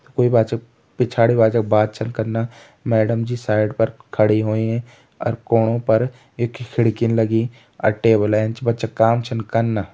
कोई बच्चा पिछाड़ी बच्चा बात छन कना मैडम जी साइड पर खड़ी होईं अर कोणों पर एक खिड़कीन लगीं अर टेबल एंच बच्चा काम छन कना।